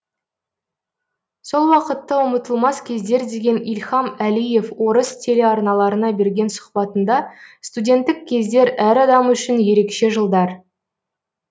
сол уақытты ұмытылмас кездер деген ильхам әлиев орыс телеарналарына берген сұхбатында студенттік кездер әр адам үшін ерекше жылдар